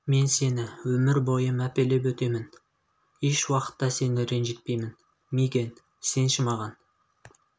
мен сені өмір бойы мәпелеп өтемін уақытта сені ренжітпеймін мигэн сенші маған